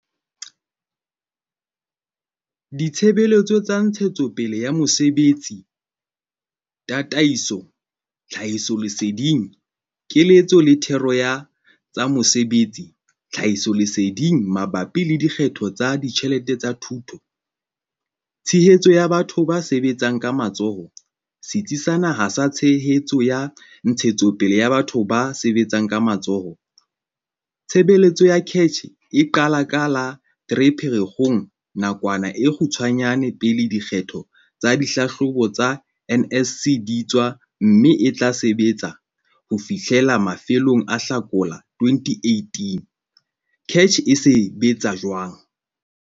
Ditshebeletso tsa ntshetsopele ya mosebetsi, tataiso, tlhahisoleseding, keletso le thero ya tsa mesebetsi-tlhahisoleseding mabapi le dikgetho tsa ditjhelete tsa thuto. Tshehetso ya batho ba sebetsang ka matsoho - Setsi sa Naha sa Tshehetso ya Ntshetsopele ya Batho ba Sebetsang ka Matsoho. Tshebeletso ya CACH eqala ka la 3 Pherekgong 2018, nakwana e kgutshwanyane pele diphetho tsa dihlahlobo tsa NSC di tswa mme e tla sebetsa ho fihlela mafelong a Hlakola 2018. CACH e sebetsa jwang?